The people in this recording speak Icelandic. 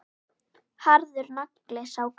Harður nagli, sá gamli.